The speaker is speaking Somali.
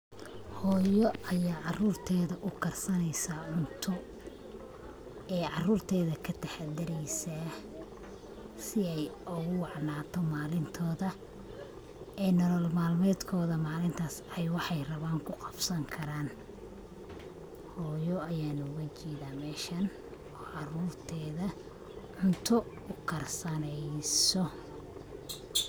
Hooyo aya caarurteda ukarsaneysa cunto, ee caarurteda kataxadareysa si ay ogu wacnato malintoda, ee nolol malmedkoda malintas ay waxay raban kuqabsan karan. Hooyo ayana oga jeedan meshan, caarurteda cunto ukar saneyso